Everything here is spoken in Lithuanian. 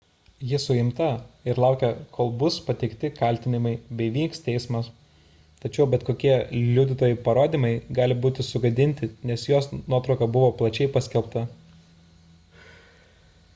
ji suimta ir laukia kol bus pateikti kaltinimai bei vyks teismas tačiau bet kokie liudytojų parodymai gali būti sugadinti nes jos nuotrauka buvo plačiai paskelbta